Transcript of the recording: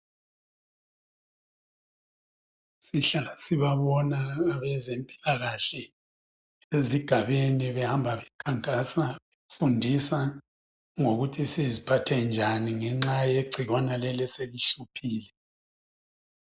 Sihlala sibabona abezempilakahle ezigabeni behamba bekhankasa befundisa ngokuthi siziphathe njani ngenxa yegcikwane leli eselihluphile.